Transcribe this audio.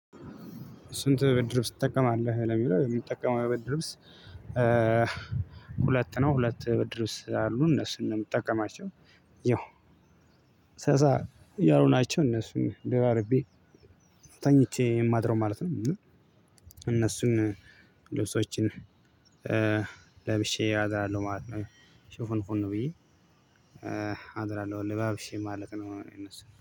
"ስንት ብድር ልብስ ትጠቀማለህ?"ለሚለው የምጠቀመው ብርድ ልብስ ሁለት ነው። ሁለት ብርድ ልብስ አሉ እነሱን ነው የምጠቀማቸው ያው ሰሳ ያሉ ናቸው እነሱን ደራርቤ ተኝቼ የማድረው ማለት ነው እና እነሱን ልብሶችን ለብሼ አድራለሁ ማለት ነው። ሽፉን ፉን ብዬ አድራለሁ ለባብሼ ማለት ነው እነሱን።